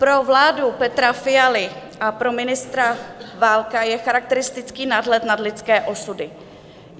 Pro vládu Petra Fialy a pro ministra Válka je charakteristický nadhled nad lidské osudy.